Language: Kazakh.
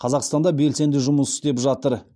қазақстанда белсенді жұмыс істеп жатыр